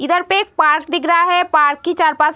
इधर पे एक पार्क दिख रहा है। पार्क की चार-पाँच --